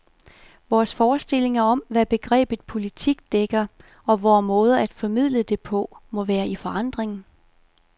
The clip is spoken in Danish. Vores forestillinger om, hvad begrebet politik dækker, og vore måder at formidle det på, må være i forandring.